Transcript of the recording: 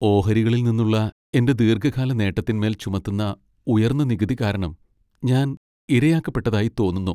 ഓഹരികളിൽ നിന്നുള്ള എന്റെ ദീർഘകാല നേട്ടത്തിന്മേൽ ചുമത്തുന്ന ഉയർന്ന നികുതി കാരണം ഞാൻ ഇരയാക്കപ്പെട്ടതായി തോന്നുന്നു.